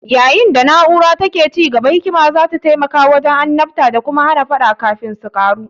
Yayin da na'urar take ci gaba, hikima za ta taimaka wajen annabta da kuma hana faɗa kafin su ƙaru.